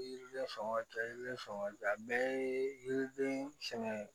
Yiri yiriden sɔngɔ yiri fanga tɛ a bɛɛ ye yiriden sɛgɛn ye